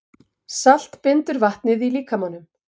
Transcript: Salt bindur vatnið í líkamanum.